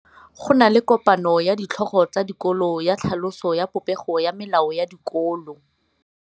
Go na le kopanô ya ditlhogo tsa dikolo ya tlhaloso ya popêgô ya melao ya dikolo.